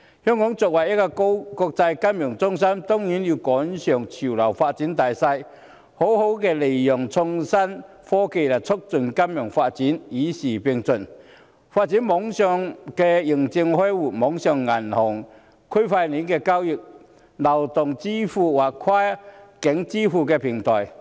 香港作為國際金融中心，當然要趕上潮流發展的大勢，好好利用創新科技來促進金融發展，與時並進，發展網上認證開戶、網上銀行、區塊鏈交易、流動支付或跨境支付平台。